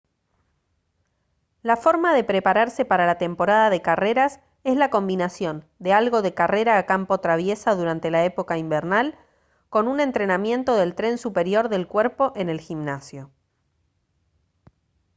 la forma de prepararse para la temporada de carreras es la combinación de algo de carrera a campo traviesa durante la época invernal con un entrenamiento del tren superior del cuerpo en el gimnasio